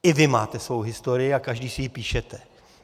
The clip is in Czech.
I vy máte svou historii a každý si ji píšete.